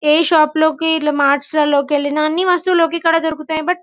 ఏ shop లోకి ఇట్లా marts లలో కి ఎళ్లిన అన్ని వస్తులు ఒకేకాదు దొరుకుతాయి బట్ --